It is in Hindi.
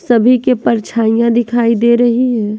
सभी के परछाइयां दिखाई दे रही है।